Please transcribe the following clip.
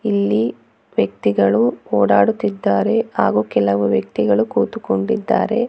ಇಲ್ಲಿ ವ್ಯಕ್ತಿಗಳು ಓಡಾಡುತ್ತಿದ್ದಾರೆ ಹಾಗು ಕೆಲವ ವ್ಯಕ್ತಿಗಳು ಕೂತುಕೊಂಡಿದ್ದಾರೆ.